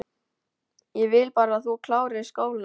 Ég vil bara að þú klárir skólann